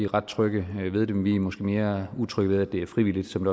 ret trygge ved det men vi er måske mere utrygge ved at det er frivilligt som